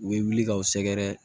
U bɛ wuli k'aw sɛgɛrɛ